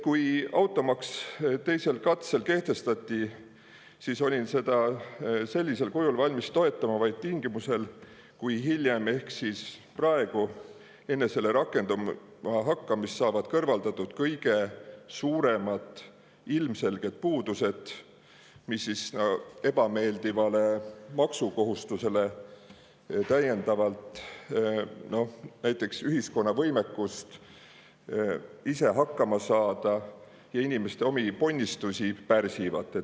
Kui automaks teisel katsel kehtestati, siis olin seda sellisel kujul valmis toetama vaid tingimusel, kui hiljem – ehk praegu –, enne selle rakendumist saavad kõrvaldatud kõige suuremad ilmselged puudused, mis ebameeldivale maksukohustusele täiendavalt näiteks ühiskonna võimekust ise hakkama saada ja inimeste omi ponnistusi pärsivad.